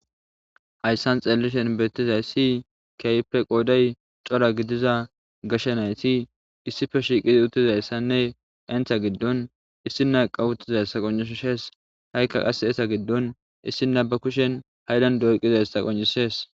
hayssan xeellishen beettizay si keype qoodey cora gidiza gashenayti issife shiiqidi uttizayssanne entha giddon issinaqa uttizayssa qoncishees ha7ikka qase esa giddon issina ba kushen haydan doyqizayssa qoncisees